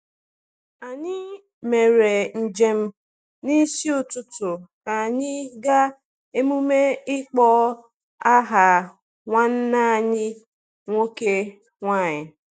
Anyị mere njem n’isi ụtụtụ ka anyị gaa emume ịkpọ aha nwanne anyị nwoke/nwunye.